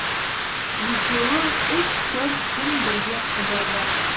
екеуі үш төрт күн бірге қыдырды